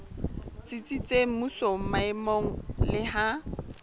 tsitsitseng mmusong maemong le ha